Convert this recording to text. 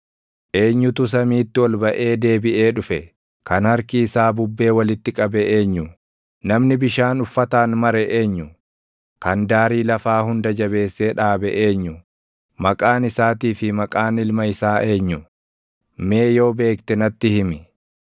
Eenyutu samiitti ol baʼee deebiʼee dhufe? Kan harki isaa bubbee walitti qabe eenyu? Namni bishaan uffataan mare eenyu? Kan daarii lafaa hunda jabeessee dhaabe eenyu? Maqaan isaatii fi maqaan ilma isaa eenyu? Mee yoo beekte natti himi!